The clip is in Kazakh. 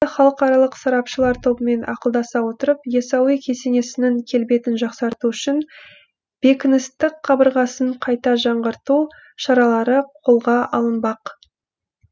халықаралық сарапшылар тобымен ақылдаса отырып яссауи кесенесінің келбетін жақсарту үшін бекіністік қабырғасын қайта жаңғырту шаралары қолға алынбақ